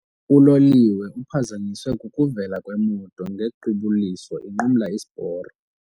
Uloliwe uphazanyiswe kukuvela kwemoto ngequbuliso inqumla isiporo.